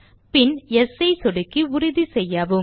பின் yes ஐ சொடுக்கி உறுதிசெய்யவும்